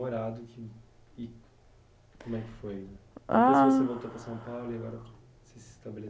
e como é que foi. Ah. Você voltou para São Paulo e agora se